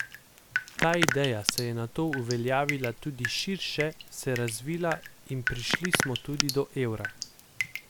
Ta ideja se je nato uveljavila tudi širše, se razvila, in prišli smo tudi do evra.